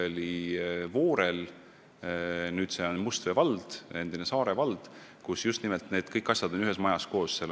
Voorel – nüüd see on Mustvee vald, enne oli Saare vald – on kõik need asjad ühes majas koos.